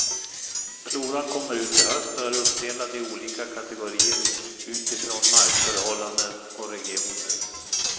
Floran kommer ut i höst och är uppdelad i olika kategorier utifrån markförhållanden och regioner.